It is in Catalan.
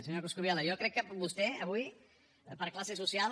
senyor coscubiela jo crec que vostè avui per classe social